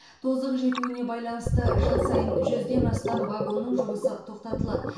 тозығы жетуіне байланысты жыл сайын жүзден астам вагонның жұмысы тоқтатылады